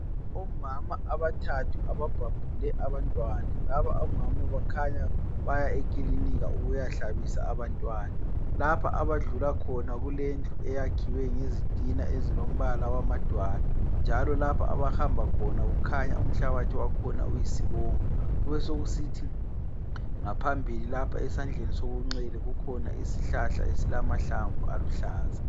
Omama abathathu ababhabhule abantwana. Laba omama bakhanya baya ekilinika ukuyahlabisa abantwana. Lapha abadlula khona kulendlu eyakhiwe ngezitina ezilombala wamadwala, njalo lapho abahamba khona kukhanya umhlabathi wakhona uyisibomvu. Besekusithi ngaphambili lapha esandleni sokunxele kukhona isihlahla esilamahlamvu aluhlaza.